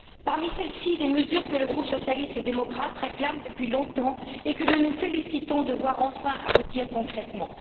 Parmi celles ci, des mesures que le groupe socialiste et démocrate réclame depuis longtemps, et que nous nous félicitons de voir enfin aboutir concrètement.